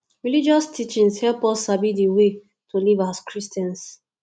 religious teachings help us sabi di right way to live as christians